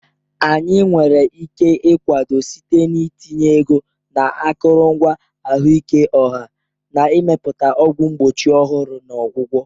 Anyị nwere ike ịkwado site n'itinye ego na akụrụngwa ahụike ọha, na Ịmepụta ọgwụ mgbochi ọhụrụ na ọgwụgwọ.